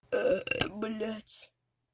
блядь